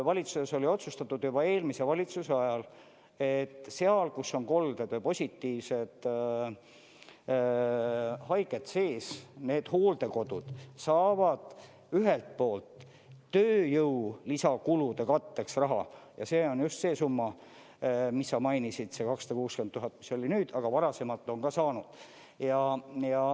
Valitsuses oli otsustatud juba eelmise valitsuse ajal, et seal, kus on kolded või positiivsed haiged sees, need hooldekodud saavad ühelt poolt tööjõu lisakulude katteks raha, ja see on just see summa, mis sa mainisid, see 260 000, mis oli nüüd, aga varasemalt on ka saanud.